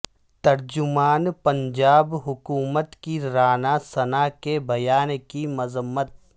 ترجمان پنجاب حکومت کی رانا ثنا کے بیان کی مذمت